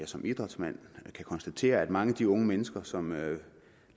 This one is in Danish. som idrætsmand kan konstatere at mange af de unge mennesker som lader